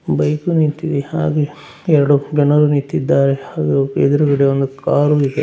Bike ಉ ನಿಂತಿದೆ ಹಾಗು ಯರಡು ಗಣರು ನಿಂತಿದ್ದಾರೆ ಹಾಗು ಎದುರಗಡೆ ಒಂದು ಕಾರ್ ಉ ಇದೆ.